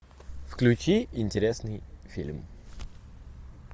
включи интересный фильм